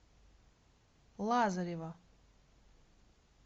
лазарева